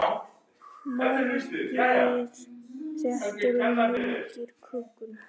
Fargið þéttir og mýkir kökuna.